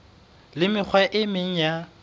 le mekgwa e meng ya